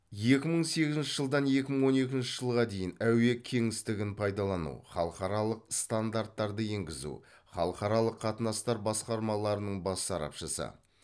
екі мың сегізінші жылдан екі мың он екінші жылға дейін әуе кеңістігін пайдалану халықаралық стандарттарды енгізу халықаралық қатынастар басқармаларының бас сарапшысы